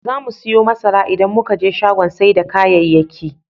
Zamu siyo masara idan muka je shagon sai da kayayyaki.